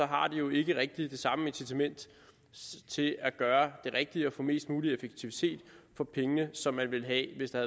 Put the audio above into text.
har de jo ikke rigtigt det samme incitament til at gøre det rigtige og få mest mulig effektivitet for pengene som man ville have hvis der